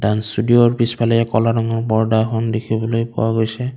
Dance ষ্টোডিওৰ পিছফালে এক ক'লা ৰঙৰ পৰ্দা এখন দেখিবলৈ পোৱা গৈছে।